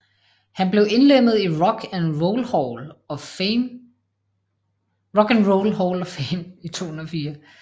Han blev indlemmet i Rock and Roll Hall of Fame i 2004